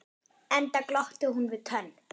Enda glotti hún við tönn.